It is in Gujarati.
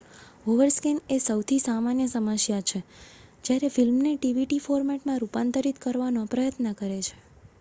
ઓવરસ્કૅન એ સૌથી સામાન્ય સમસ્યાછે જ્યારે ફિલ્મને ડીવીડી ફોર્મેટમાં રૂપાંતરિત કરવાનો પ્રયત્ન કરે છે